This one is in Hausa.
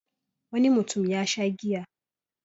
Wani mutum ya sha giya.